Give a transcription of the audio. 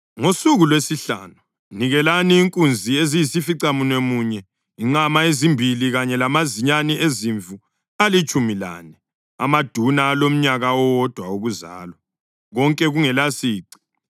Ngosuku lwesihlanu nikelani inkunzi eziyisificamunwemunye, inqama ezimbili kanye lamazinyane ezimvu alitshumi lane amaduna alomnyaka owodwa wokuzalwa, konke kungelasici.